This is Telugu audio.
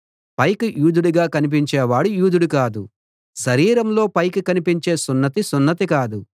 పైకి యూదుడుగా కనిపించేవాడు యూదుడు కాదు శరీరంలో పైకి కనిపించే సున్నతి సున్నతి కాదు